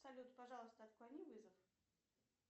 салют пожалуйста отклони вызов